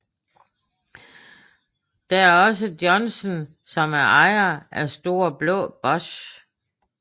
Der er også Johnsen som er ejer af Store blå boss